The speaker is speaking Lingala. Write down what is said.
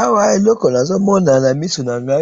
awa eloko nazomo na miso nanga